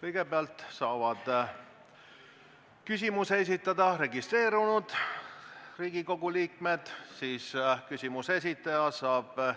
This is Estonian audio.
Kõigepealt saavad küsimuse esitada registreerunud Riigikogu liikmed, siis saab küsimuse esitaja